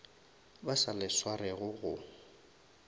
ba sa le swarego go